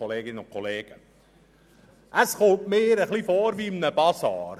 Ich komme mir vor wie in einem Basar: